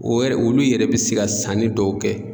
O yɛrɛ olu yɛrɛ bɛ se ka sanni dɔw kɛ.